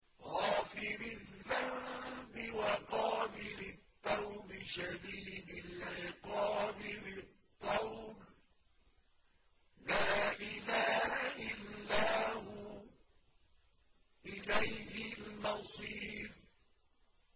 غَافِرِ الذَّنبِ وَقَابِلِ التَّوْبِ شَدِيدِ الْعِقَابِ ذِي الطَّوْلِ ۖ لَا إِلَٰهَ إِلَّا هُوَ ۖ إِلَيْهِ الْمَصِيرُ